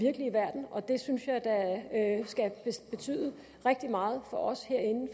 virkelige verden og det synes jeg da skal betyde rigtig meget for os herinde